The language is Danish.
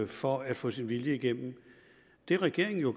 for at få sin vilje igennem det regeringen jo